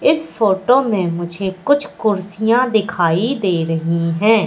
इस फोटो में मुझे कुछ कुर्सियां दिखाई दे रही है।